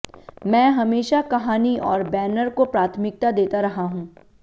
मैं हमेशा कहानी और बैनर को प्राथमिकता देता रहा हूं